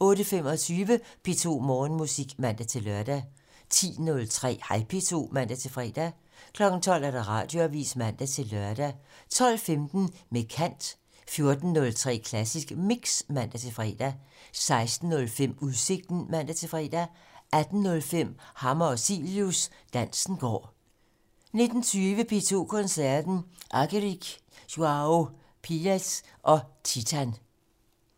08:25: P2 Morgenmusik (man-lør) 10:03: Hej P2 (man-fre) 12:00: Radioavisen (man-lør) 12:15: Med kant 14:03: Klassisk Mix (man-fre) 16:05: Udsigten (man-fre) 18:05: Hammer og Cilius - Dansen går 19:20: P2 Koncerten - Argerich, Joao Pires og Titan